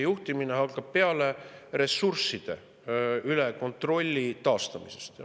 Juhtimine hakkab peale ressursside üle kontrolli taastamisest.